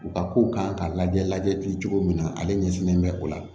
U ka kow kan ka lajɛ lajɛli cogo min na ale ɲɛsilen bɛ o la